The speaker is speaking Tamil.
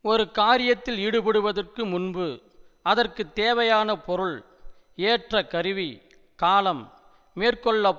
ஒரு காரியத்தில் ஈடுபடுவதற்கு முன்பு அதற்கு தேவையான பொருள் ஏற்ற கருவி காலம் மேற்கொள்ளப்